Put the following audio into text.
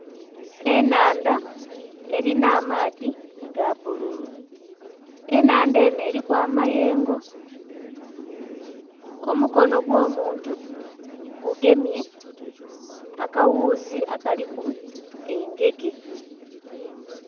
Enhandha erina amaadhi aga bbululu enhandha enho eriku amayengo. Omukono gwo muntu gugemye akaghuuzi akaliku engege.